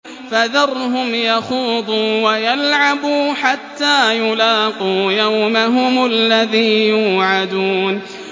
فَذَرْهُمْ يَخُوضُوا وَيَلْعَبُوا حَتَّىٰ يُلَاقُوا يَوْمَهُمُ الَّذِي يُوعَدُونَ